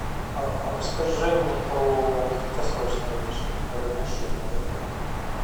расскажи мне про краткосрочное размещение в отеле